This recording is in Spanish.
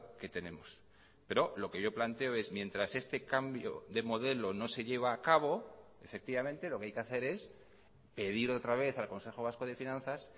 que tenemos pero lo que yo planteo es mientras este cambio de modelo no se lleva a cabo efectivamente lo que hay que hacer es pedir otra vez al consejo vasco de finanzas